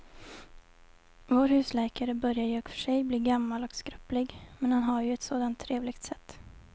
Vår husläkare börjar i och för sig bli gammal och skröplig, men han har ju ett sådant trevligt sätt!